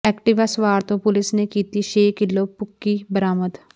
Activa ਸਵਾਰ ਤੋਂ police ਨੇ ਕੀਤੀ ਛੇ ਕਿਲੋ ਭੁੱਕੀ ਬਰਾਮਦ